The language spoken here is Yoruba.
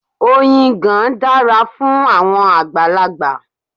Oyin ìgàn dára fún àwọn àgbàlagbà.